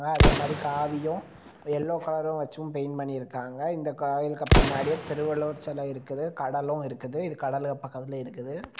அதே மாதிரி காவியு எல்லோ கலரும் வச்சும் பெயிண்ட் பண்ணி இருக்காங்க இந்த கோயிலுக்கு பின்னாடி திருவள்ளுவர் செல இருக்குது கடலு இருக்குது இது கடலுக்கு பக்கத்துல இருக்குது.